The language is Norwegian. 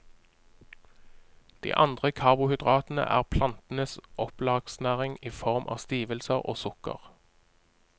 De andre karbohydratene er plantenes opplagsnæring i form av stivelse og sukker.